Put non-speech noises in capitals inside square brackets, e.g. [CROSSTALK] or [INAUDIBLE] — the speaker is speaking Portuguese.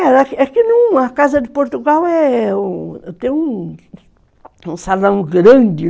É [UNINTELLIGIBLE] que a Casa de Portugal, é um... Tem um um salão grande